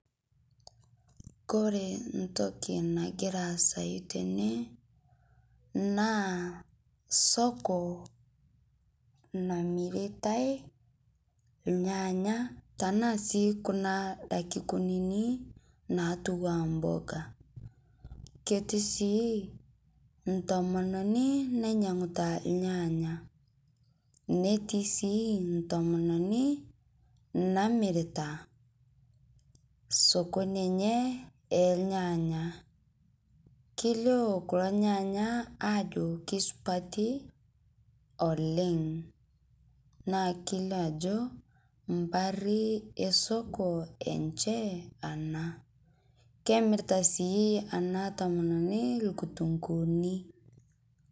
Kore ntoki nagira aasayu tene naa soko namiritai lyaanya tanaa sii kuna daki kunini natuwaa mboga, keti sii ntomonini nainyeng'uta lnyanya netii sii ntomononi namirita sokoni enyee elnyanya keilio kulo nyanya ajo keisupati oleng' naa keilio ajo mpari esoko enshe anaa kemirita sii ana tomononi lkutung'uuni